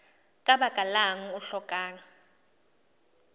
ka baka lang o hlokang